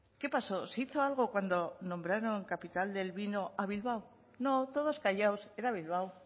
qué pasó se hizo algo cuando nombraron capital del vino a bilbao no todos callados era bilbao